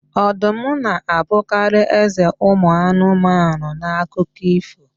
Ọdụm na-abụkarị eze anụmanụ n'akụkọ ífò.